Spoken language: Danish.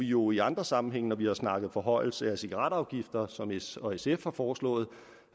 jo i andre sammenhænge når vi har snakket forhøjelse af cigaretafgiften som s og sf har foreslået